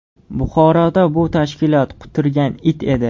Buxoroda bu tashkilot quturgan it edi.